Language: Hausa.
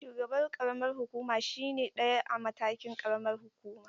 Shugaban ƙaramar hukuma shine na ɗaya a matakin ƙaramar hukuma.